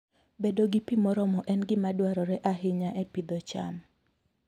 Bedo gi pi moromo en gima dwarore ahinya e pidho cham.